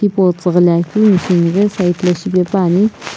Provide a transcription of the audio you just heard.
pu tighilae keu machine ghi side lae shipaepani.